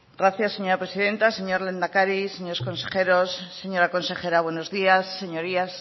gracias señora presidenta señor lehendakari señores consejeros señora consejera buenos días señorías